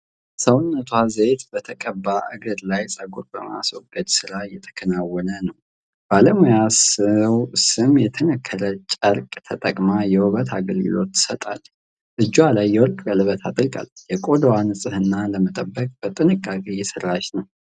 ሰውነቷ ዘይት በተቀባ እግር ላይ ፀጉር የማስወገድ ሥራ እየተከናወነ ነው። ባለሙያዋ ሰም የተነከረ ጨርቅ ተጠቅማ የውበት አገልግሎት ትሰጣለች። እጇ ላይ የወርቅ ቀለበት አጥልቃለች። የቆዳውን ንጽህና ለመጠበቅ በጥንቃቄ እየሰራች ነው።